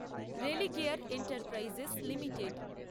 Religare enterprises limited